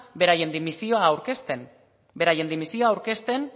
beraien dimisioa aurkezten